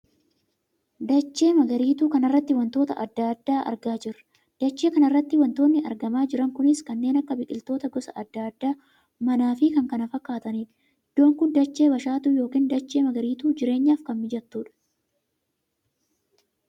Dachee magariituu kana irratti wantoota addaa addaa argaa jirra. dachee kana irratti wantootni argamaa jiran kunis; kanneen akka biqiloota gosa addaa addaa, mana fi kan kana fakkaatanidha. iddoon kun dachee bashaatuu yookiin dachee magariituu jireenyaf kan mijattudha.